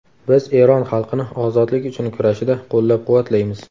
Biz Eron xalqini ozodlik uchun kurashida qo‘llab-quvvatlaymiz.